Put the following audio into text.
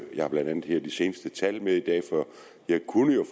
jeg har blandt andet de seneste tal med her i dag så jeg kunne